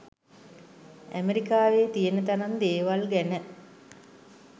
ඇමරිකාවේ තියෙන තරම් දේවල් ගැන